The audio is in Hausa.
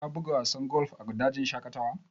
Ka buga wasan golf a dajin shaƙatawa?